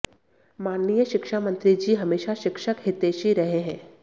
माननीय शिक्षा मंत्री जी हमेशा शिक्षक हितैषी रहे हैं